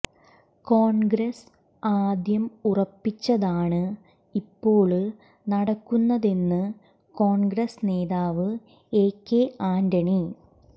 കോണ്ഗ്രസ് ആദ്യം ഉറപ്പിച്ചതാണ് ഇപ്പോള് നടക്കുന്നതെന്ന് കോണ്ഗ്രസ് നേതാവ് എകെ ആന്റണി